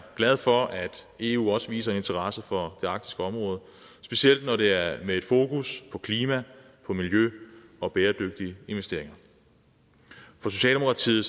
glade for at eu også viser interesse for det arktiske område specielt når det er med fokus på klima miljø og bæredygtige investeringer for socialdemokratiet